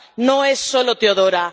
No es solo Teodora.